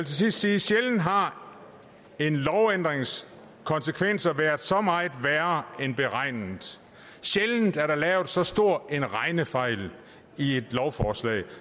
sidst sige at sjældent har en lovændrings konsekvenser været så meget værre end beregnet sjældent er der lavet så stor en regnefejl i et lovforslag